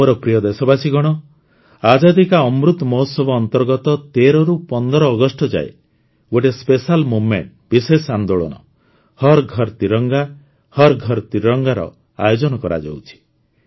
ମୋର ପ୍ରିୟ ଦେଶବାସୀଗଣ ଆଜାଦୀ କା ଅମୃତ ମହୋତ୍ସବ ଅନ୍ତର୍ଗତ ୧୩ ରୁ ୧୫ ଅଗଷ୍ଟ ଯାଏଁ ଗୋଟିଏ ସ୍ପେଶାଲ୍ ମୁଭମେଣ୍ଟ ବିଶେଷ ଆନ୍ଦୋଳନ ହର୍ ଘର୍ ତ୍ରିରଙ୍ଗାର ଆୟୋଜନ କରାଯାଉଛି